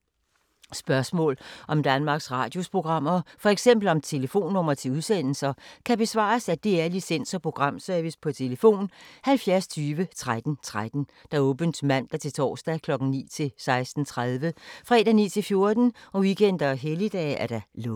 Spørgsmål om Danmarks Radios programmer, f.eks. om telefonnumre til udsendelser, kan besvares af DR Licens- og Programservice: tlf. 70 20 13 13, åbent mandag-torsdag 9.00-16.30, fredag 9.00-14.00, weekender og helligdage: lukket.